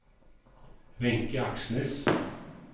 Wenche Aksnes